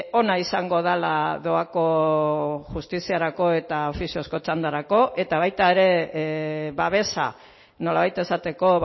ona izango dela doako justiziarako eta ofiziozko txandarako eta baita ere babesa nolabait esateko